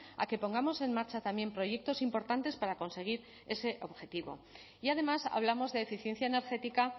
a que pongamos en marcha también proyectos importantes para conseguir ese objetivo y además hablamos de eficiencia energética